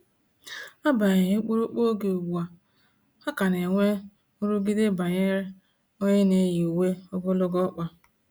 Agbanyeghi ụkpụrụ oge ugbua, ha ka na enwe nrụgide banyere onye n'eyi uwe ogologo ọkpa